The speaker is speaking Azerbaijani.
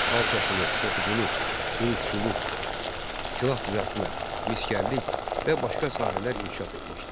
Xalçaçılıq, toxuculuq, dulusçuluq, silah düzəltmə, misgərlik və başqa sahələr inkişaf etmişdi.